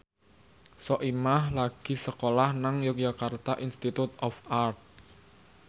Soimah lagi sekolah nang Yogyakarta Institute of Art